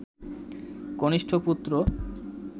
কনিষ্ঠ পুত্র